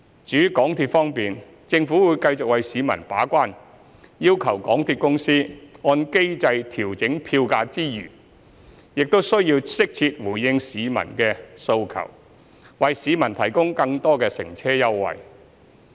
至於港鐵方面，政府會繼續為市民把關，要求港鐵公司按機制調整票價之餘，亦適切回應市民的訴求，為市民提供更多乘車優惠。